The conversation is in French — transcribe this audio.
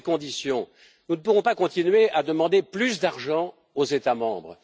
Dans ces conditions, nous ne pourrons pas continuer à demander plus d'argent aux États membres.